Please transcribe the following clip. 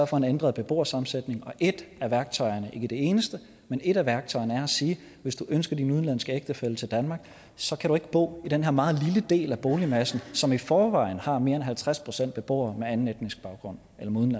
for en ændret beboersammensætning og ét af værktøjerne ikke det eneste men ét af værktøjerne er at sige hvis du ønsker din udenlandske ægtefælle til danmark så kan du ikke bo i den her meget lille del af boligmassen som i forvejen har mere end halvtreds procent beboere med anden etnisk baggrund